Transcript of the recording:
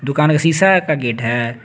दुकान का शिशा का गेट है।